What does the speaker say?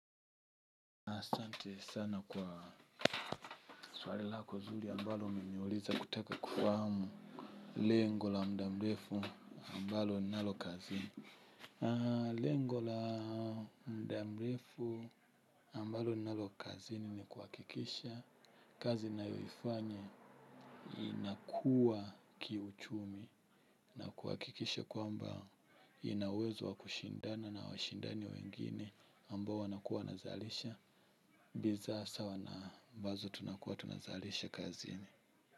Sante sana kwa swali lako zuri ambalo umeniuliza kutaka kufahamu. Lengo la mdamrefu ambalo nnalokazini lengo la mdamrefu ambalo nnalokazini ni kuakikisha. Kazi nayoifanya inakuwa kiuchumi. Na kuakikisha kwamba inauwezo wakushindana na washindani wengine ambao wanakuwa nazalisha Biza sawa na ambazo tunakuwa tunazaarisha kazini.